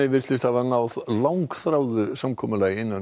virtist hafa náð langþráðu samkomulagi innan